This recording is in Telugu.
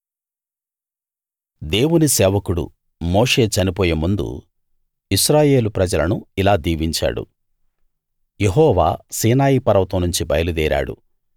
దేవుని సేవకుడు మోషే చనిపోయేముందు ఇశ్రాయేలు ప్రజలను ఇలా దీవించాడు యెహోవా సీనాయి పర్వతం నుంచి బయలుదేరాడు